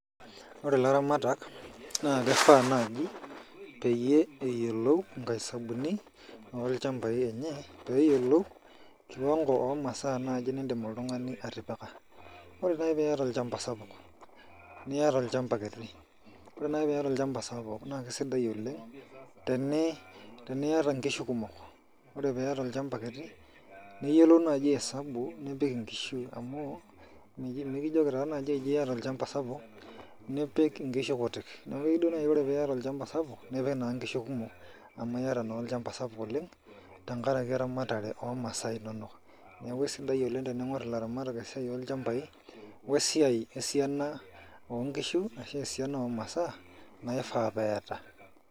Ore laramatak na kifaa naji peyie eyiolou inkaisabuni olchambai lenye, peyiolou kiwango omasaa naji nidim oltung'ani atipika. Ore nai piata olchamba sapuk, niata olchamba kiti, ore nai piata olchamba sapuk na kesidai oleng teniata nkishu kumok. Ore piata olchamba kiti, niyiolou naji esabu nipik inkishu amu, mekijoki taa naji ji iyata olchamba sapuk, nipik inkishu kutik. Neku keu duo nai ore piata olchamba sapuk, nipik naa nkishu kumok, amu yata naa olchamba sapuk oleng, tenkaraki eramatare omasaa inonok. Neeku esidai oleng tening'or ilaramatak esiai olchambai, wesiai esiana onkishu ashu esiana omasaa, naifaa peeta.